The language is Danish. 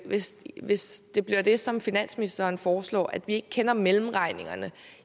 hvis hvis det bliver det som finansministeren foreslår at vi ikke kender mellemregningerne